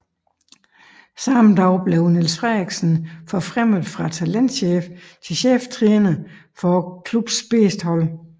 Samme dag blev Niels Frederiksen forfremmet fra talentchef til cheftræner for klubbens bedste hold